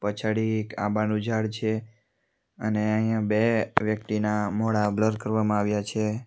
પછાડી એક આંબાનું ઝાડ છે અને અહીંયા બે વ્યક્તિના મોઠા બ્લર કરવામાં આવ્યા છે.